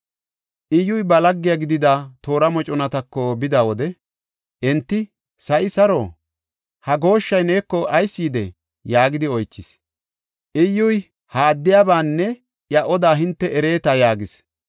Iyyuy ba lagge gidida toora moconatako bida wode, enti, “Sa7i saro? Ha gooshshay neeko ayis yidee?” yaagidi oychis. Iyyuy, “Ha addiyabanne iya odaa hinte ereeta” yaagis.